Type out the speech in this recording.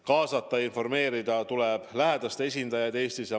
Kaasata ja informeerida tuleb lähedaste esindajaid Eestis.